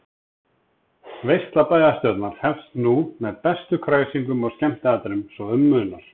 Veisla bæjarstjórnar hefst nú með bestu kræsingum og skemmtiatriðum svo um munar.